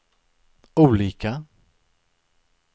olika